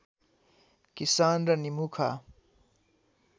किसान र निमुखा